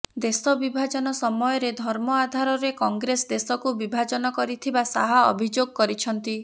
ଦେଶ ବିଭାଜନ ସମୟରେ ଧର୍ମ ଆଧାରରେ କଂଗ୍ରେସ ଦେଶକୁ ବିଭାଜନ କରିଥିବା ଶାହ ଅଭିଯୋଗ କରିଛନ୍ତି